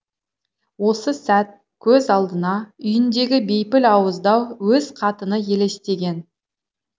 осы сәт көз алдына үйіндегі бейпіл ауыздау өз қатыны елестеген